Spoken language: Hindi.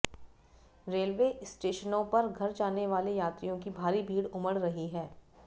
रेलवे स्टेशनों पर घर जाने वाले यात्रियों की भारी भीड़ उमड़ रही है